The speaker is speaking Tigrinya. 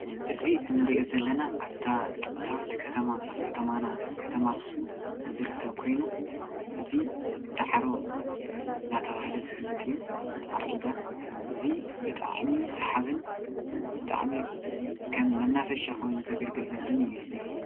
እዚ እንሪኦ ዘለና ኣብታ ጥንታዊት ከተማ ፥ ከተማና ከተማ ኣክሱም ዝርከብ ኮይኑ እዚ ዳዕሮ እናተባሃለ ዝፍለጥ እዩ፡፡ ዳዕሮ ዒላ እዚ ብጣዕሚ ሳሓብን ብጣዕሚ ከም መናፈሻ ኮይኑ ዘግልግልን ዘሎ እዩ፡፡